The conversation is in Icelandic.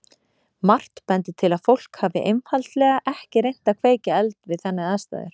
Margt bendir til að fólk hafi einfaldlega ekki reynt að kveikja eld við þannig aðstæður.